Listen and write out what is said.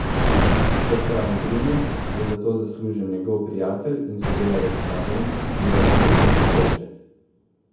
Kot pravi Primož, je za to zaslužen njegov prijatelj in sodelavec Marjan, ki je oskrbnik koče.